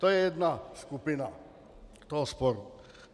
To je jedna skupina toho sporu.